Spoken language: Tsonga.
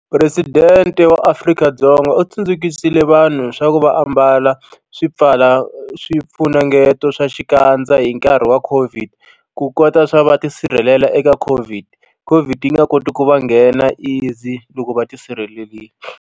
Presidente wa Afrika-Dzonga u tsundzukisile vanhu swa ku va ambala swi pfala swifunengeto swa xikandza hi nkarhi wa COVID ku kota swa va tisirhelela eka COVID COVID yi nga koti ku va nghena easy loko va tisirhelelini.